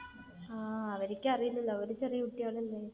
ആഹ് അവർക്ക് അറിയില്ലല്ലോ. അവർ ചെറിയ കുട്ടികൾ അല്ലെ.